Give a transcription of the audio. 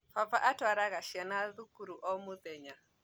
Baba atũaraga ciana thukuru o mũthenya